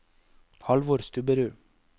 Halvor Stubberud